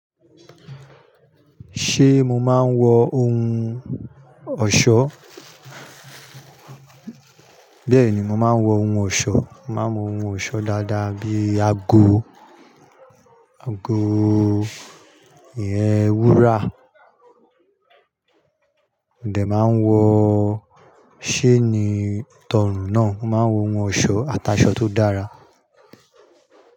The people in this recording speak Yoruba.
Ṣé mo máa ń wọ ohun ọ̀ṣọ́? Bẹ́ẹ̀ni, mo máa ń wọ ohun ọ̀ṣọ́. Mo máa ń wọ ohun ọ̀ṣọ́ dáadáa bíi ago, ago ìyen wúrà, Modè máa ń wọ, chaini tọrùn náà. Mo máa ń wọ ohun ọ̀ṣọ́, ataṣọ tó dára.